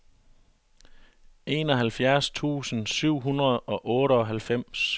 enoghalvfjerds tusind syv hundrede og otteoghalvfems